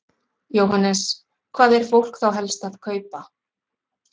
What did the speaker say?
Jóhannes: Hvað er fólk þá helst að kaupa?